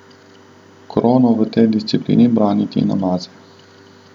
Krono v tej disciplini brani Tina Maze.